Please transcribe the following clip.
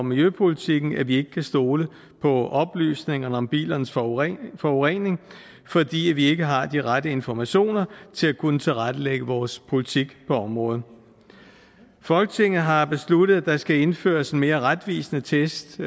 miljøpolitikken at vi ikke kan stole på oplysningerne om bilernes forurening forurening fordi vi ikke har de rette informationer til at kunne tilrettelægge vores politik på området folketinget har besluttet at der skal indføres en mere retvisende test